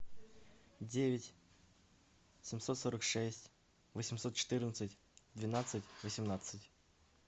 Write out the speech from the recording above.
девять семьсот сорок шесть восемьсот четырнадцать двенадцать восемнадцать